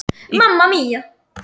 Í hvaða sæti endar Fram í haust?